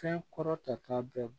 Fɛn kɔrɔ ta k'a bɛɛ